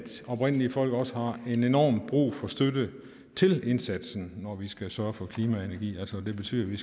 oprindelige folk også har en enorm brug for støtte til indsatsen når vi skal sørge for klima og energi det betyder at vi